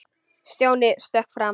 Stjáni stökk fram.